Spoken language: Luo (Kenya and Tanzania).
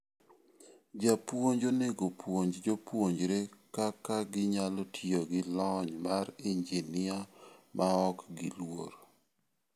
Jopuonj onego opuonj jopuonjre kaka ginyalo tiyo gi lony mar injinia maok giluor.